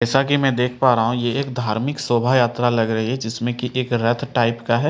जैसा कि मैं देख पा रहा हूँ ये एक शोभा यात्रा लग रही है जिसमें की एक रथ टाइप का है।